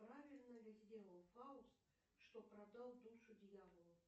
правильно ли сделал фауст что продал душу дьяволу